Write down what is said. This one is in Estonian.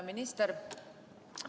Minister!